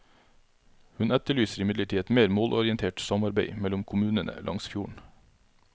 Hun etterlyser imidlertid et mer målorientert samarbeid mellom kommunene langs fjorden.